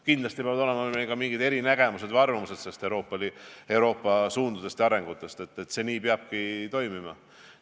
Kindlasti peavad olema ka mingid eriarvamused Euroopa suundade ja arengute kohta, see peabki nii toimima.